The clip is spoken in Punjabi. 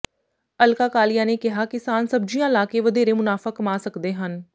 ਅਲਕਾ ਕਾਲੀਆ ਨੇ ਕਿਹਾ ਕਿਸਾਨ ਸਬਜੀਆਂ ਲਾ ਕੇ ਵਧੇਰੇ ਮੁਨਾਫਾ ਕਮਾ ਸਕਦੇ ਹਨ